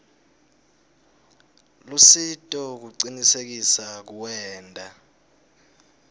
lusito kucinisekisa kuwenta